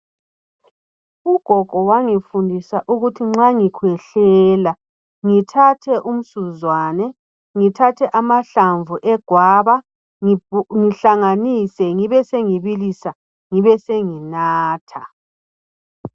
Ugogo wangifundisa ukuthi nxa ngikhwehlela , ngithathe umsuzwane, ngithathe amahlamvu egwaba ngihlanganise ngibe sengibilisa ngibe senginatha